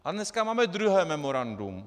A dneska máme druhé memorandum.